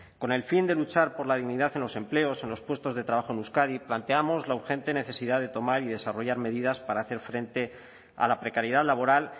con el fin de luchar por la dignidad en los empleos en los puestos de trabajo en euskadi planteamos la urgente necesidad de tomar y desarrollar medidas para hacer frente a la precariedad laboral